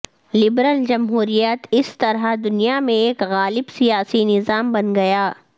liberal جمہوریت اس طرح دنیا میں ایک غالب سیاسی نظام بن گیا